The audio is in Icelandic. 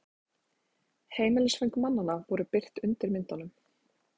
Heimilisföng mannanna voru birt undir myndunum